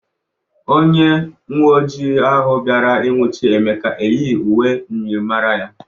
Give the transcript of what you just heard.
Onye uweojịi ahụ bịara inwụchɨ Emeka eyighi uwe myịrịmara ya.